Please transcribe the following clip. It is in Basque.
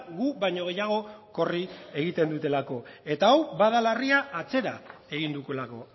gu baino gehiago korri egiten dutelako eta hau bada larria atzera egin dugulako